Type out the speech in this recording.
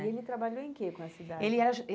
E ele trabalhou em que com essa idade? Ele era